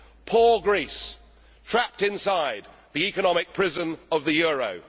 Poor Greece, trapped inside the economic prison of the euro!